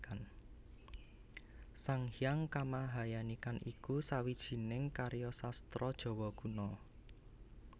Sang Hyang Kamahayanikan iku sawijining karya sastra Jawa Kuna